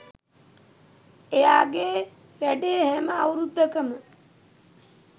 එයාගේ වැඩේ හැම අවුරුද්දකම